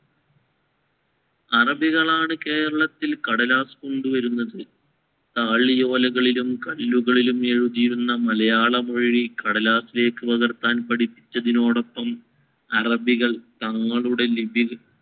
അറബികളാണ് കേരളത്തിൽ കടലാസ് കൊണ്ടുവരുന്നത്. താളിയോലകളിലും കല്ലുകളിലും എഴുതിയിരുന്ന മലയാള മൊഴി കടലാസിലേക്ക് പകർത്താൻ പഠിപ്പിച്ചതിനോടൊപ്പം അറബികള്‍ തങ്ങളുടെ ലിപിക~